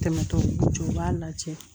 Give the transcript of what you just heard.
Tɛmɛtɔ jɔ u b'a lajɛ